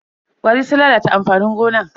ƙwari sun lalata amfanin gonan.